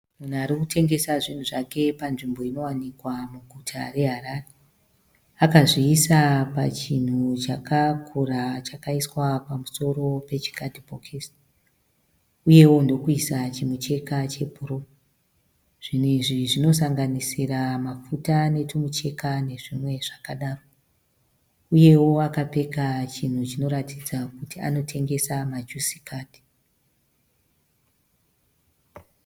Munhu arikutengesa zvinhu zvake panzvimbo inowanikwa muguta reHarare. Akazviisa pachinhu chakakura chakaiswa pamusoro pechikadhibhokisi uyewo ndokuisa chimucheka chebhuruu. Zvinhu izvi zvinosanganisira mafuta netumicheka nezvimwe zvakadaro uyewo akapfeka chinhu chinoratidza kuti anotengesa majusi kadzi.